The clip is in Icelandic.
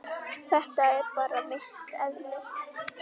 Þetta er bara mitt eðli.